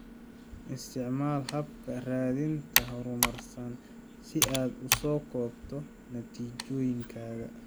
Isticmaal habka raadinta horumarsan si aad u soo koobto natiijooyinkaaga.